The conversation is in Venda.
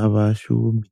a vha shumi.